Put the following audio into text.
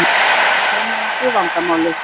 Við könnuðumst við vandamálið.